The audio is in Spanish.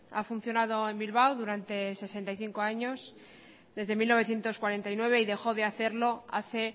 ha funcionado en bilbao durante sesenta y cinco años desde mil novecientos cuarenta y nueve y dejó de hacerlo hace